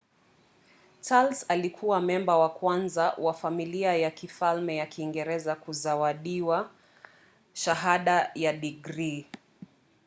charles alikuwa memba wa kwanza wa familia ya kifalme ya kiingereza kuzawadiwa shahada ya digrii